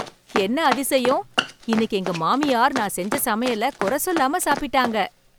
என்ன அதிசயம் இன்னைக்கு எங்க மாமியார் நான் செஞ்ச சமையல கொற சொல்லாம சாப்பிட்டாங்க!